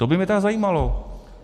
To by mě tedy zajímalo.